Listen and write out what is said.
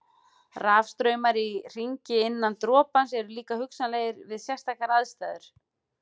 Rafstraumar í hringi innan dropans eru líka hugsanlegir við sérstakar aðstæður.